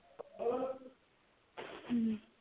ਹਮ